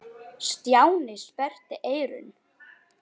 Stjáni sperrti eyrun.